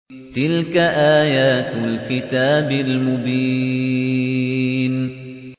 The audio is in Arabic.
تِلْكَ آيَاتُ الْكِتَابِ الْمُبِينِ